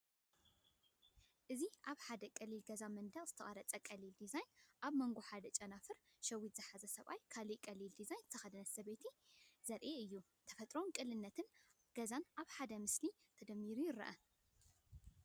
እዚ ኣብ ሓደ ቀሊል ገዛ ኣብ መንደቕ ዝተቐርጸ ቀሊል ዲዛይን፡ ኣብ መንጎ ሓደ ጨንፈር ሸዊት ዝሓዘ ሰብኣይን ካልእ ቀሊል ክዳን ዝተኸድነ ሰብይትን ዘርኢ እዩ። ተፈጥሮን ቅልልነት ገዛን ኣብ ሓደ ምስሊ ተደሚሩ ይረአ።